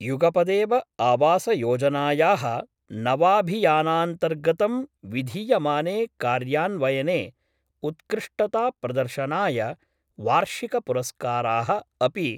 युगपदेव आवासयोजनायाः नवाभियानान्तर्गतं विधीयमाने कार्यान्वयने उत्कृष्टताप्रदर्शनाय वार्षिक पुरस्काराः अपि